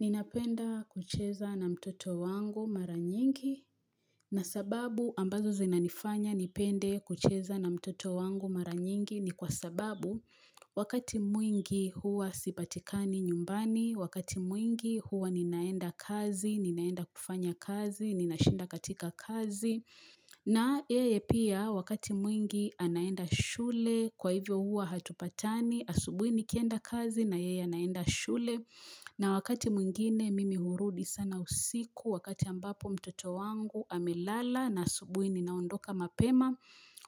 Ninapenda kucheza na mtoto wangu maranyingi na sababu ambazo zinanifanya nipende kucheza na mtoto wangu maranyingi ni kwa sababu wakati mwingi huwa sipatikani nyumbani, wakati mwingi huwa ninaenda kazi, ninaenda kufanya kazi, nina shinda katika kazi. Na yeye pia wakati mwingi anaenda shule kwa hivyo huwa hatupatani asubuini kienda kazi na yeye anaenda shule na wakati mwingine mimi hurudi sana usiku wakati ambapo mtoto wangu amelala na asubuini naondoka mapema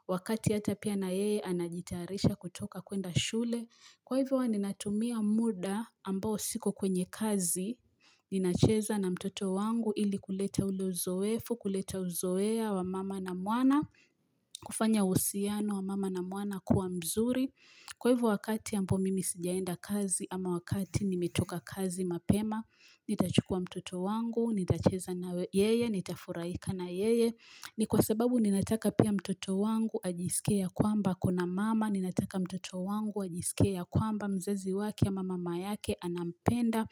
wakati hata pia na yeye anajitarisha kutoka kwenda shule. Kwa hivyo wa ninatumia muda ambao siko kwenye kazi, ninacheza na mtoto wangu ili kuleta ule uzoefu, kuleta uzoea wa mama na mwana, kufanya uhusiano wa mama na mwana kuwa mzuri. Kwa hivo wakati ambao mimi sijaenda kazi ama wakati nimetoka kazi mapema, nitachukua mtoto wangu, nitacheza na yeye, nitafuraika na yeye. Ni kwa sababu ninataka pia mtoto wangu ajisikie ya kwamba akona mama ninataka mtoto wangu ajisikie ya kwamba mzazi wake ama mama yake anampenda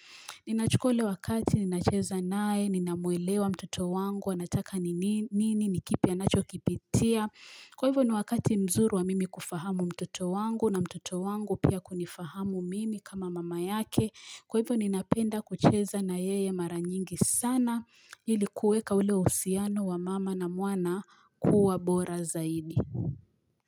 Ninachukua ule wakati ninacheza naye ninamwelewa mtoto wangu anataka nini nikipi anachokipitia Kwa hivyo ni wakati mzuri wa mimi kufahamu mtoto wangu na mtoto wangu pia kunifahamu mimi kama mama yake Kwa hivyo ninapenda kucheza na yeye maranyingi sana ilikuweka ule uhusiano wa mama na mwana kuwa bora zaidi.